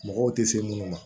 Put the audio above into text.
Mɔgɔw tɛ se minnu ma